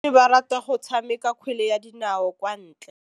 Basimane ba rata go tshameka kgwele ya dinaô kwa ntle.